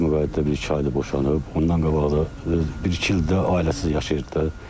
Rəsmi qeydiyyatda bir il boşanıb, ondan qabaq da bir-iki il də ailəsiz yaşayırdı da.